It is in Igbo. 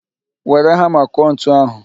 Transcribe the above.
Were hama kụọ ntu ahụ